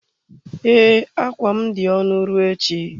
Ee, akwa m dị ọnụ ruo echi.